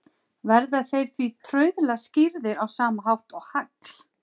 Verða þeir því trauðla skýrðir á sama hátt og hagl.